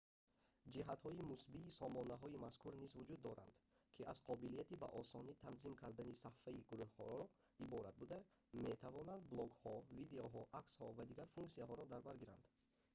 ҷиҳатҳои мусбии сомонаҳои мазкур низ вуҷуд доранд ки аз қобилияти ба осонӣ танзим кардани сафҳаи гурӯҳро иборат буда метавонанд блогҳо видеоҳо аксҳо ва дигар функсияҳоро дар бар гиранд